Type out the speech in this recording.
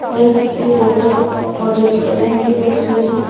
यह किसी होटल और रेस्टोरेंट की तस्वीर है।